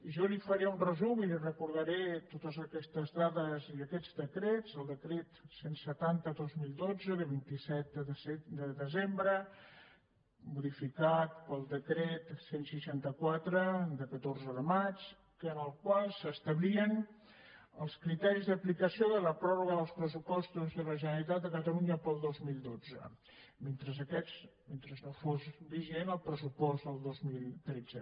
jo li faré un resum i li recordaré totes aquestes dades i aquests decrets el decret cent i setanta dos mil dotze de vint set de desembre modificat pel decret cent i seixanta quatre de catorze de maig en el qual s’establien els criteris d’aplicació de la pròrroga dels pressupostos de la generalitat de catalunya per al dos mil dotze mentre no fos vigent el pressupost del dos mil tretze